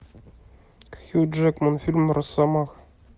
хью джекман фильм росомаха